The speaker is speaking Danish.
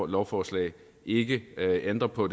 lovforslag ikke ændre på